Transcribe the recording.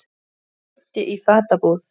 Auddi í fatabúð